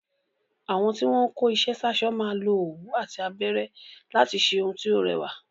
Àwọn tí wọ́n ń kó iṣẹ́ sáṣọ máa lo òwú àti abẹ́rẹ́ láti ṣe ohun tí ó rẹwà.